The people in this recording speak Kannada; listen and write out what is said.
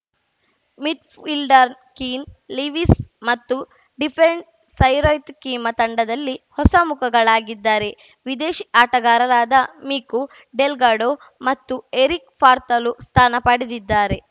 ಮಿಡ್‌ಫೀಲ್ಡರ್‌ ಕೀನ್‌ ಲಿವೀಸ್‌ ಮತ್ತು ಡಿಫೆಂಡ್ ಸೈರುತ್‌ ಕಿಮಾ ತಂಡದಲ್ಲಿ ಹೊಸಮುಖಗಳಾಗಿದ್ದಾರೆ ವಿದೇಶಿ ಆಟಗಾರರಾದ ಮಿಕು ಡೆಲ್ಗಾಡೋ ಮತ್ತು ಎರಿಕ್‌ ಫಾರ್ತಲು ಸ್ಥಾನ ಪಡೆದಿದ್ದಾರೆ